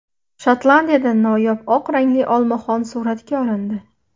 Shotlandiyada noyob oq rangli olmaxon suratga olindi.